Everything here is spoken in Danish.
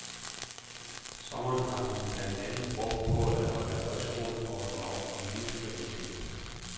Sommeren har hun blandt andet brugt på at holde højskoleforedrag om livskvalitet.